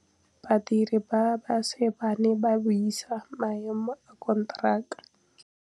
Badiri ba baša ba ne ba buisa maêmô a konteraka.